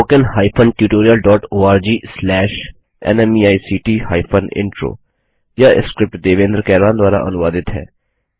spoken hyphen tutorial dot org slash NMEICT hyphen intro यह script Devendra Kairwan द्वारा अनुवादित है